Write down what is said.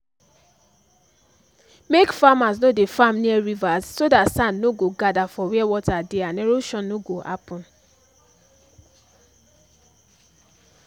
make farmers no dey farm near rivers so dat sand nor go gather for where water dey and erosion no go happen